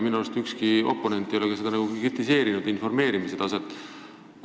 Minu arust ükski oponent ei olegi kritiseerinud informeerimise taset.